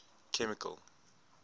chemical